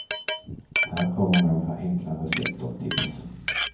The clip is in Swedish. Här kommer några enkla recept och tips.